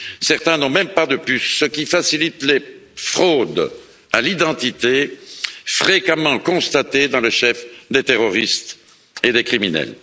Certains n'ont même pas de puce, ce qui facilite les fraudes à l'identité fréquemment constatées dans le chef des terroristes et des criminels.